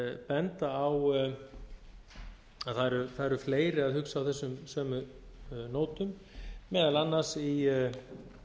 benda á að það eru fleiri að hugsa á þessum sömu nótum meðal annars í